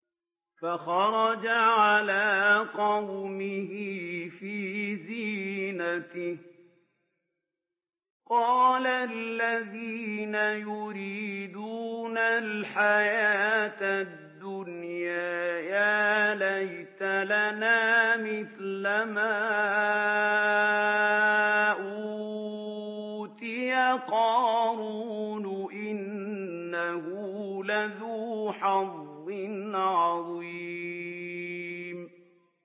فَخَرَجَ عَلَىٰ قَوْمِهِ فِي زِينَتِهِ ۖ قَالَ الَّذِينَ يُرِيدُونَ الْحَيَاةَ الدُّنْيَا يَا لَيْتَ لَنَا مِثْلَ مَا أُوتِيَ قَارُونُ إِنَّهُ لَذُو حَظٍّ عَظِيمٍ